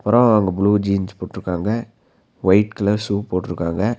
அப்பறோ அங்க blue jeans போட்ருக்காங்க ஒயிட் கலர் ஷூ போட்ருக்காங்க.